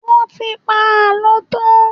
Wọ́n ti pa àlọ́ tán.